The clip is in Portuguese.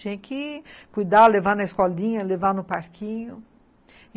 Tinha que cuidar, levar na escolinha, levar no parquinho.